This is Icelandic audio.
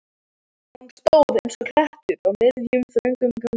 Hann stóð eins og klettur á miðjum, þröngum ganginum.